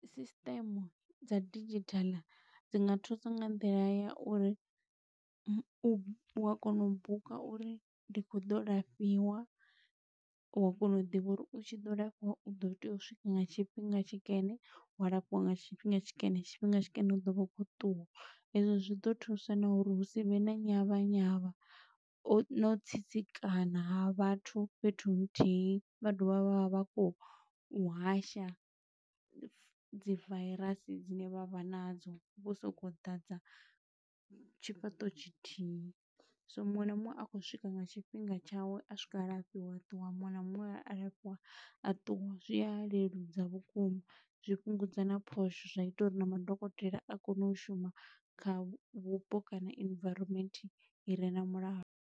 Sisiṱeme dza digital dzi nga thusa nga nḓila ya uri, u a kona u buka uri ndi khou ḓo lafhiwa, wa kona u ḓivha uri u tshi ḓo lafhiwa u ḓo tea u swika nga tshifhinga tshikene, wa lafhiwa nga tshifhinga tshikene. Tshifhinga tshikene u ḓo vha u khou ṱuwa, ezwo zwi ḓo thusa na uri hu si vhe na nyavha nyavha o, no u tsitsikana ha vhathu fhethu nthihi. Vha dovha vha vha vha khou u hasha dzi vairasi dzine vha vha na dzo, vho sokou ḓadza tshifhaṱo tshithihi. So muṅwe na muṅwe a khou swika nga tshifhinga tshawe, a swika a lafhiwa a ṱuwa, muṅwe na muṅwe a alafhiwa a ṱuwa. Zwi a leludza vhukuma, zwi fhungudza na phosho, zwa ita uri na madokotela a kone u shuma kha vhupo kana environment i re na mulalo.